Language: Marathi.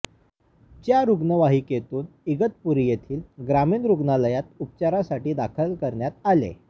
च्या रुग्णवाहिकेतून इगतपुरी येथील ग्रामीण रुग्णालयात उपचारसाठी दाखल करण्यात आले